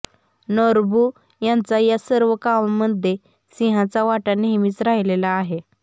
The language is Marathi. नोरबु यांचा या सर्व कामांमध्ये सिंहाचा वाटा नेहमीच राहिलेला आहे